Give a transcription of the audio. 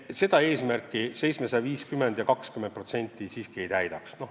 Meie eesmärki lahendus 750 eurot ja 20% paraku ei täidaks.